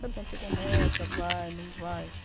Sabe quando você começa, vai, não vai.